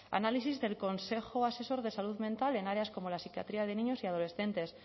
análisis del consejo asesor de salud mental en áreas como la psiquiatría de niños y adolescentes